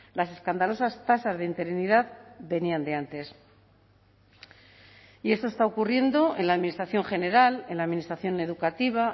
las escandalosas tasas de interinidad venían de antes y esto está ocurriendo en la administración general en la administración educativa